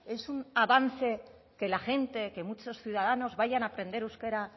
es un avance que la gente que muchos ciudadanos vayan a aprender euskera